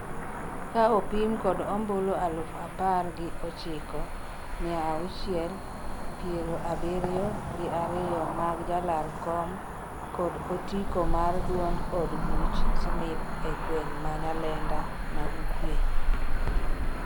ka opim kod ombulu alufu par gi ochiko mia auchiel piero abiriyo gi ariyo mag jalar kom kod otiko mar duond od buch Snip e gweng' ma Nyalenda ma ugwe